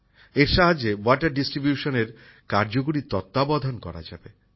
এর সাহায্যে জল বন্টনের কার্যকরী তত্বাবধান করা যাবে